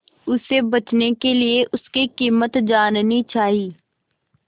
उसे बचने के लिए उसकी कीमत जाननी चाही